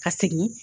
Ka segin